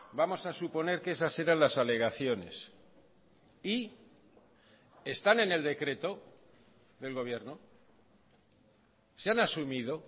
vamos a suponer que esas eran las alegaciones y están en el decreto del gobierno se han asumido